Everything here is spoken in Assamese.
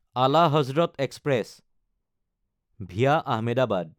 Ala Hazrat express (via Ahmedabad)